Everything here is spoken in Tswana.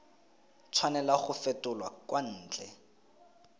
tshwanela go fetolwa kwa ntle